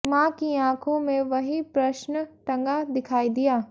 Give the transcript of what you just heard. मां की आंखों में वही प्रश्न टंगा दिखाई दिया